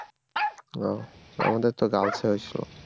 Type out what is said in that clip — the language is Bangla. ও আমাদের তো girls এ হয়েছিল